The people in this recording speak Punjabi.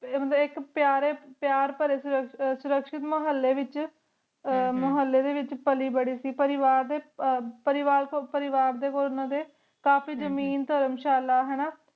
ਟੀ ਮਤਲਬ ਆਇਕ ਪਿਯਾਰ ਭਰੇ ਸੁਰਕ੍ਸ਼ਿਤ ਮੁਹਾਲ੍ਲ੍ਯ ਵਿਚ ਪਾਲੀ ਭਾਰੀ ਸੇ ਪਰਿਵਾਰ ਦੇ ਕੋਲ ਓਹਨਾ ਦੇ ਕਾਫੀ ਜ਼ਮੀਨ ਧਰਮਸ਼ਾਲਾ ਹੈਨਾ